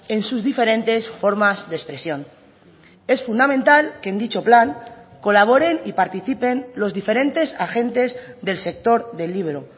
en sus diferentes formas de expresión es fundamental que en dicho plan colaboren y participen los diferentes agentes del sector del libro